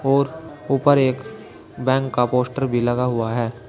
और ऊपर एक बैंक का पोस्टर भी लगा हुआ है।